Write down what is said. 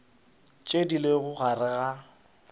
tše di lego gare ga